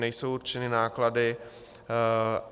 Nejsou určeny náklady.